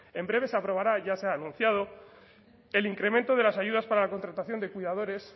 en breve se aprobará ya se ha anunciado el incremento de las ayudas para la contratación de cuidadores